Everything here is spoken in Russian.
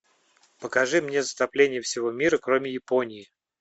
покажи мне затопление всего мира кроме японии